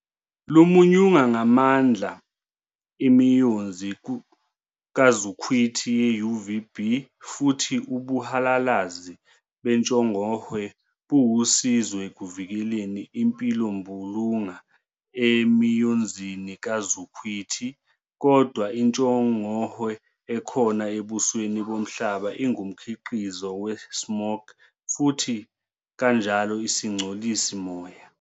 3, lumunyunga ngamandla imiyonzi kazukhwithi ye-UVB futhi ubuhalalazi bentshongohwe buwusizo ekuvikeleni impilombulunga emiyonzini kazukhwithi. Kodwa, intshongohwe ekhona ebusweni bomhlaba ingumkhiqizo we-"smog" futhi kanjalo isingcolisi moya.